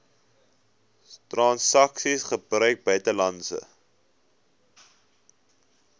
transaksies gebruik buitelandse